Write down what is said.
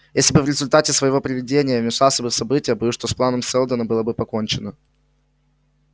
если бы в результате своего предвидения я вмешался в события боюсь что с планом сэлдона было бы покончено